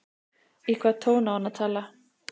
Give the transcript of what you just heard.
Í hvaða tón á hann að tala?